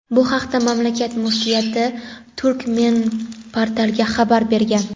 Bu haqda mamlakat Muftiyati "Turkmenportal"ga xabar bergan.